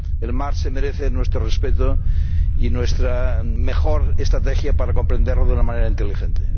el mar se merece nuestro respeto y nuestra mejor estrategia para comprenderlo de una manera inteligente.